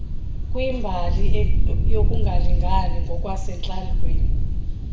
kwimbali yokungalingani ngokwasentlalweni